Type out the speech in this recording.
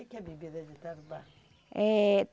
Que que é bebida de Tarubá? Eh